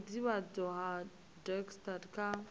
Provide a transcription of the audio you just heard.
ha vhudavhidzano ha dacst kha